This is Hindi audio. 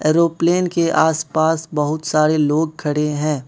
एरोप्लेन के आस पास बहोत सारे लोग खड़े है।